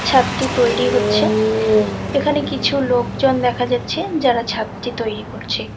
ছাদটি তৈরি হচ্ছে এখানে কিছু লোকজন দেখা যাচ্ছে যারা ছাদটি তৈরি করছে।